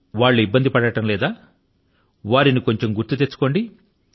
వాళ్ళు ఇబ్బంది పడడం లేదా వారిని కొంచెం గుర్తు తెచ్చుకోండి